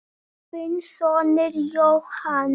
Þinn sonur, Jóhann.